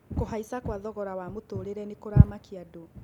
Kũhaica kwa thogora wa mũtũũrĩre nĩ kũramakia andũ.